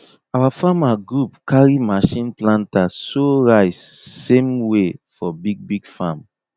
our farmer group carry machine planter sow rice same way for big big farm